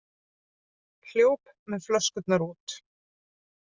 Hljóp með flöskurnar út